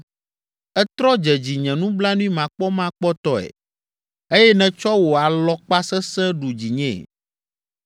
Ètrɔ dze dzinye nublanuimakpɔmakpɔtɔe eye nètsɔ wò alɔkpa sesẽ ɖu dzinyee.